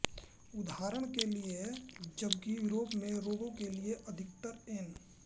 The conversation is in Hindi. उदाहरण के लिये जबकि यूरोप में रोग के लिये अधिकतर एन